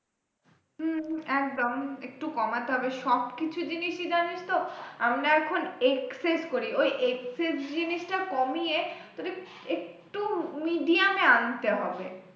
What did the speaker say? হম একদম একটু কমাতে হবে, সবকিছু জিনিসই জানিস তো আমরা এখন escape করি ওই escape জিনিসটা কমিয়ে তোর একটু medium এ আনতে হবে,